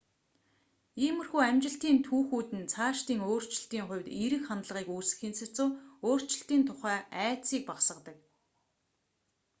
иймэрхүү амжилтын түүхүүд нь цаашдын өөрчлөлтийн хувьд эерэг хандлагыг үүсгэхийн сацуу өөрчлөлтийн тухай айдсыг багасгадаг